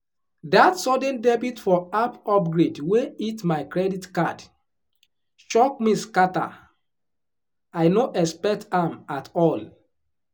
that sudden debit for app upgrade wey hit my credit card shock me scatter — i no expect am at all.